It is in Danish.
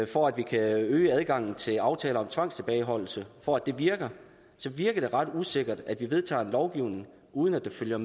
for at vi kan øge adgangen til aftaler om tvangstilbageholdelse for at det virker så virker det ret usikkert at vi vedtager lovgivning uden at der følger